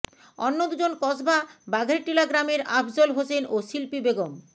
অন্য দুজন কসবা বাঘেরটিলা গ্রামের আফজল হোসেন ও শিল্পী বেগম